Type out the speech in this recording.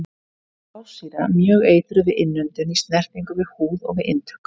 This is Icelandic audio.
Blásýra- Mjög eitruð við innöndun, í snertingu við húð og við inntöku.